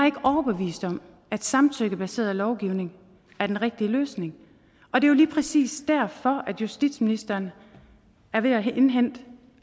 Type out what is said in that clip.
ikke overbevist om at samtykkebaseret lovgivning er den rigtige løsning er jo lige præcis derfor at justitsministeren er ved at indhente